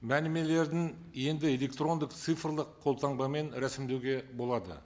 мәлімелердің енді электрондық цифрлық қолтаңбамен рәсімдеуге болады